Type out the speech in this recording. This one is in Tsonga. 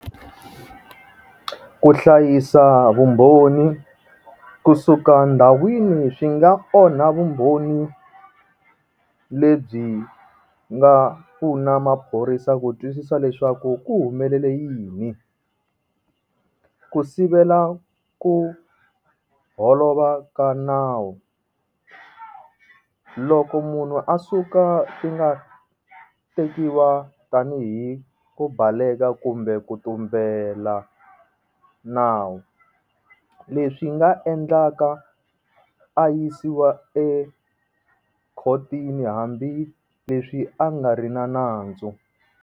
Ku hlayisa vumbhoni kusuka ndhawini swi nga onha vumbhoni lebyi nga pfuna maphorisa ku twisisa leswaku ku humelela yini, ku sivela ku holova ka nawu loko munhu a suka ti nga tekiwa tanihi ku baleka ku kumbe ku tumbela nawu leswi nga endlaka a yisiwa ekhotini hambileswi a nga ri na nandzu.